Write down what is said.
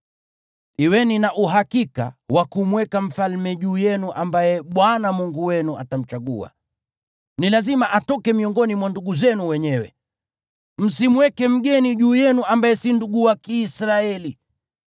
kuweni na uhakika wa kumweka mfalme juu yenu ambaye Bwana Mungu wenu atamchagua. Ni lazima atoke miongoni mwa ndugu zenu wenyewe. Msimweke mgeni juu yenu ambaye si ndugu wa Kiisraeli.